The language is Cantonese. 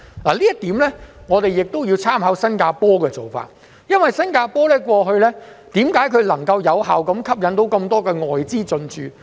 就此，我們亦要參考新加坡的做法，為何新加坡過去可以有效吸引眾多外資進駐呢？